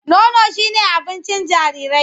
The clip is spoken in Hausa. Nono shi me abincin jarirai.